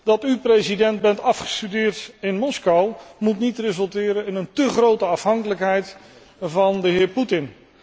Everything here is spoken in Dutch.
Dat u, president, bent afgestudeerd in Moskou, moet niet resulteren in een té grote afhankelijkheid van de heer Putin.